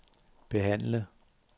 behandle